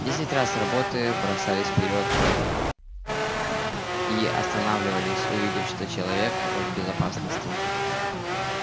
десять раз работы бросались вперёд и останавливались увидев что человек в безопасности